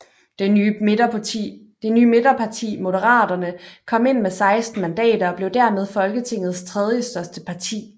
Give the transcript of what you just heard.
Det nye midterparti Moderaterne kom ind med 16 mandater og blev dermed Folketingets tredjestørste parti